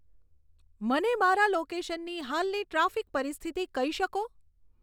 મને મારા લોકેશનની હાલની ટ્રાફિક પરિસ્થિતિ કહી શકો